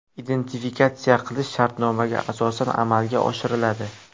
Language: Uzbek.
Identifikatsiya qilish shartnomaga asosan amalga oshiriladi.